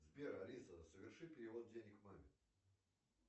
сбер алиса соверши перевод денег маме